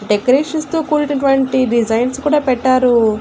Decorations తో కూడినటువంటి designs కూడా పెట్టారు.